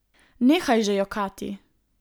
Nehaj že jokati!